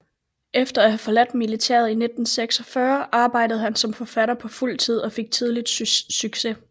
Efter at have forladt militæret i 1946 arbejdede han som forfatter på fuld tid og fik tidligt succes